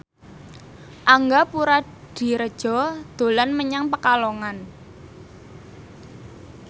Angga Puradiredja dolan menyang Pekalongan